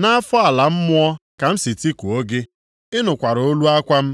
Nʼafọ ala mmụọ ka m si tikuo gị, ị nụkwara olu akwa m.